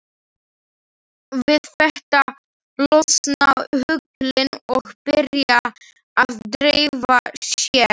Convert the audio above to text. Við þetta losna höglin og byrja að dreifa sér.